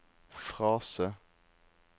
frase